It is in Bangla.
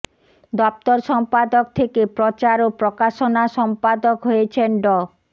দফতর সম্পাদক থেকে প্রচার ও প্রকাশনা সম্পাদক হয়েছেন ড